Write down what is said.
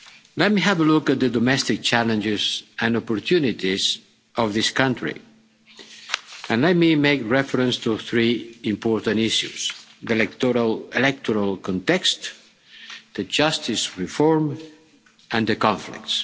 Let me have a look at the domestic challenges and opportunities of this country, and let me make reference to three important issues the electoral context the justice reform and the conflicts.